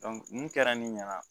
mun kɛra ne ɲɛna